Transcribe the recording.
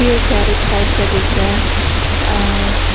ये garage type का दिख रहा है